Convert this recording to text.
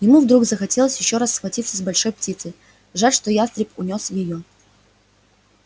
ему вдруг захотелось ещё раз схватиться с большой птицей жаль что ястреб унёс её